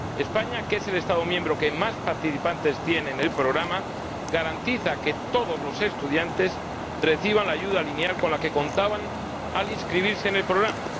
España, que es el Estado miembro que más participantes tiene en el programa, garantiza que todos los estudiantes reciban la ayuda lineal con la que contaban al inscribirse en el programa.